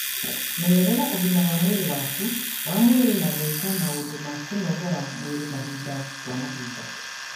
Menyerera ũgima wa mwĩrĩ waku wa mwĩrĩ na gwĩka maũndũ ma kũnogora mwĩrĩ mahinda kwa mahinda.